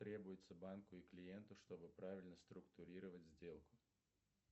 требуется банку и клиенту чтобы правильно структурировать сделку